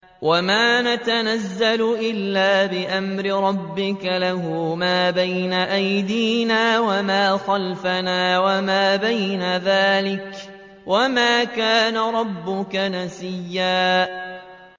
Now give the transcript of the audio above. وَمَا نَتَنَزَّلُ إِلَّا بِأَمْرِ رَبِّكَ ۖ لَهُ مَا بَيْنَ أَيْدِينَا وَمَا خَلْفَنَا وَمَا بَيْنَ ذَٰلِكَ ۚ وَمَا كَانَ رَبُّكَ نَسِيًّا